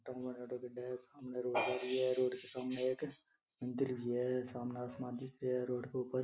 गड्डे है सामने रोड जा रही है रोड के सामने एक मंदिर भी है सामने आसमान दिखे है रोड के ऊपर --